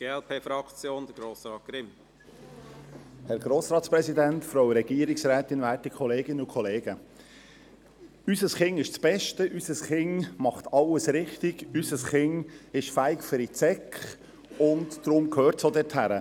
Unser Kind ist das Beste, unser Kind macht alles richtig, unser Kind ist fähig für die Sek, und darum gehört es auch dorthin.